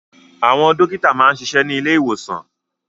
Àwọn dókítà máa ń ṣiṣẹ́ ní ilé ìwòsàn